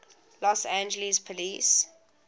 los angeles police